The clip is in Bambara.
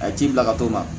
A ye ci bila ka t'o ma